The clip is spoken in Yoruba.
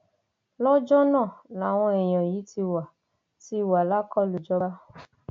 lọjọ náà làwọn èèyàn yìí ti wà ti wà lákọlò ìjọba